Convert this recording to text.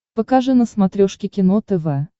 покажи на смотрешке кино тв